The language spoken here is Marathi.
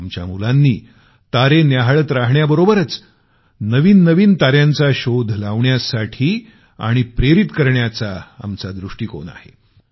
आमच्या मुलांनी तारे न्याहाळत राहण्याबरोबरच नवीन नवीन तार्यांचा शोध लावण्यासाठी आणि प्रेरित करण्याचा आमचा दृष्टीकोन आहे